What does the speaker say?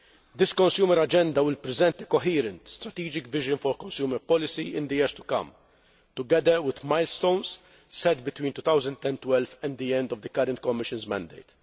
This Consumer Agenda will present a coherent, strategic vision for consumer policy in the years to come, together with milestones set between 2012 and the end of the current Commission's mandate.